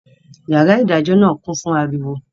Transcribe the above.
Yàrá ìdájọ́ náà kún fún ariwo